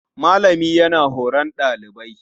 Malami yana horon ɗalibi.